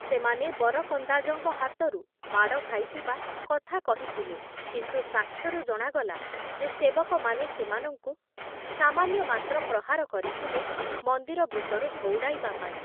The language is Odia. ସେମାନେ ବରକନ୍ଦାଜଙ୍କ ହାତରୁ ମାଡ଼ ଖାଇଥିବା କଥା କହିଥିଲେ କିନ୍ତୁ ସାକ୍ଷ୍ୟରୁ ଜଣାଗଲା ଯେ ସେବକମାନେ ସେମାନଙ୍କୁ ସାମାନ୍ୟ ମାତ୍ର ପ୍ରହାର କରିଥିଲେ ମନ୍ଦିର ଭିତରୁ ଘଉଡ଼ାଇବା ପାଇଁ ।